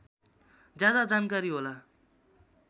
ज्यादा जानकारी होला